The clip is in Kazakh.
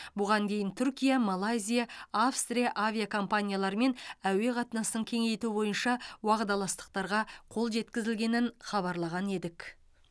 бұған дейін түркия малайзия австрия авиакомпанияларымен әуе қатынасын кеңейту бойынша уағдаластықтарға қол жеткізілгенін хабарлаған едік